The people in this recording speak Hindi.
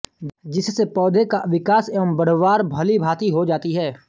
जिससे पौधे का विकास एवं बढ़वार भलीभांति हो जाती है